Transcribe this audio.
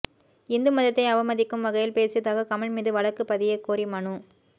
இந்து மதத்தை அவமதிக்கும் வகையில் பேசியதாக கமல் மீது வழக்கு பதியக்கோரி மனு